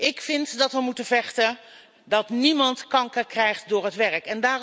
Ik vind dat wij ervoor moeten vechten dat niemand kanker krijgt door het werk.